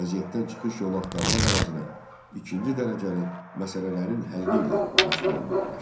Vəziyyətdən çıxış yolu axtarmaq əvəzinə ikinci dərəcəli məsələlərin həlli ilə məşğul olmağa başladı.